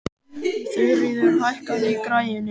Þuríður, hækkaðu í græjunum.